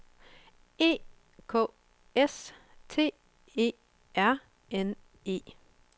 E K S T E R N E